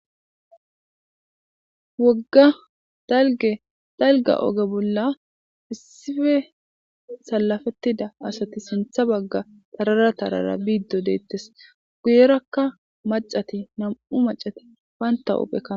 Wogga dalge dalga oge bolla issife salafettida asati sintha bagga tarara tarara biiddo deettes guyerakka macati nam'u macati banta uphekkana.